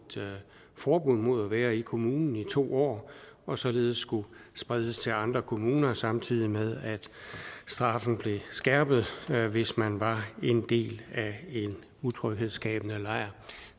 forbud mod at være i kommunen i to år og således skulle spredes til andre kommuner samtidig med at straffen blev skærpet hvis man var en del af en utryghedsskabende lejr